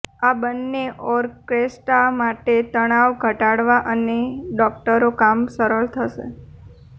આ બંને ઓરકેસ્ટ્રા માટે તણાવ ઘટાડવા અને ડોકટરો કામ સરળ થશે